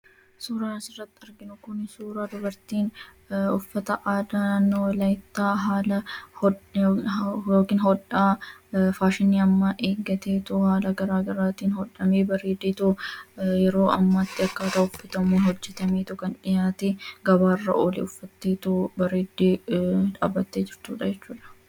Suuraan asirratti arginu kun suuraa dubartiin uffata aadaa naannoo Walaayittaa haala hodhaa faashinii ammaa eeggateetoo halluu gara garaatiin bareedee hodhameetoo yeroo ammaa akka ta'uttu bareedee hojjetameetoo gabaarra kan oole. Yeroo ammaa uffatteetoo bareeddee dhaabbattee jirti jechuudha.